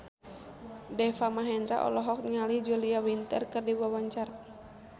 Deva Mahendra olohok ningali Julia Winter keur diwawancara